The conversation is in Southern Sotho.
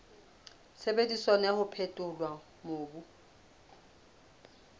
sebediswang wa ho phethola mobu